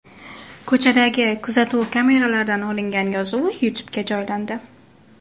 Ko‘chadagi kuzatuv kameralaridan olingan yozuv YouTube’ga joylandi .